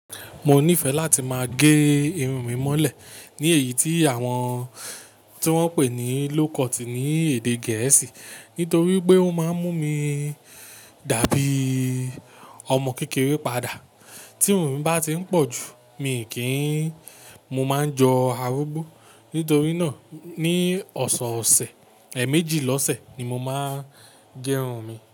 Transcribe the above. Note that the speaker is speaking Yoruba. Mo nífẹ̀ẹ́ láti máa gé irun mi mọ́lẹ̀ ní èyí tí àwọn-- tí wọ́n ń pè ní low cut ní èdè Gẹ̀ẹ́sì nítorí pé ó máa ń mú mi dàbí ọmọ kékeré padà. Tí irun mi bá ti ń pọ̀ jù, mi kì í, mo máa ń jọ arúgbó. Nítorí náà ní ọ̀sọ̀ọ̀sẹ̀, èèmejì lọ́sẹ̀ ni mo máa ń gé irun mi.